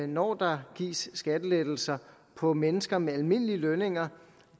når der gives skattelettelser på mennesker med almindelige lønninger